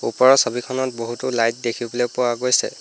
ওপৰৰ ছবিখনত বহুতো লাইট দেখিবলৈ পোৱা গৈছে।